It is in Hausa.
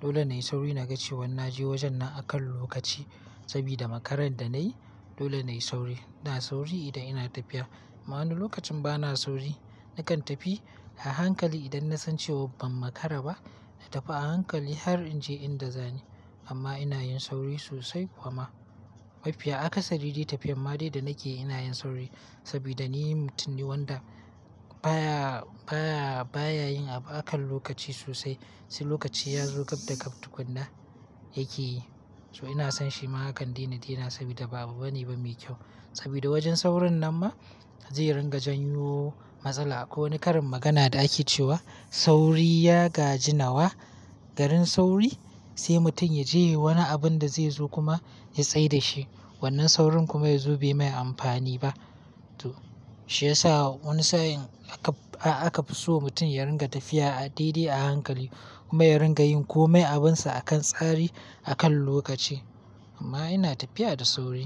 Dole na yi sauri na ga cewa na je wajen na akan lokaci sabida makaran da na yi dole na yi sauri. Ina sauri idan ina tafiya ma'ana lokacin ba na sauri nakan tafi a hankali idan na san cewa ban makara ba na tafi a hankali har in je inda za ni. Amma ina yin sauri sosai kuma mafiya aka sadi dai tafiyar ma dai da nake ina yin sauri sabida ni mutum ne wanda baya, baya, baya yin abu akan lokaci sosai. Sai lokaci ya zo ƙaf daka tukunna yake yi. So ina son shi ma hakan dina dina sabida babu bane ba mai kyau sabida wajen saurin nan ma zai ringa janyo matsala. Ko wani karin magana da ake cewa "sauri ya gaji nawa", garin sauri sai mutum ya je wani abun da zai zo kuma ya tsai da shi. Wannan saurin kuma ya zo bai mai amfani ba. To shiyasa wani sa'in aka fi so mutum ya ringa tafiya a daidai a hankali kuma ya ringa yin kome abinsa akan tsari akan lokaci. Amma ina tafiya da sauri.